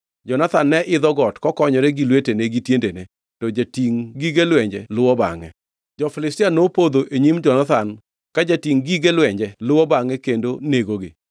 Jonathan ne idho got kokonyore gi lwetene gi tiendene, to jatingʼ gige lwenje luwo bangʼe. Jo-Filistia nopodho e nyim Jonathan, ka jatingʼ gige lwenje luwo bangʼe kendo negogi.